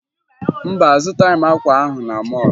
Mba, azụtaghị m akwa ahụ na mọọlụ